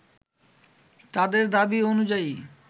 তাদের দাবি অনুযায়ী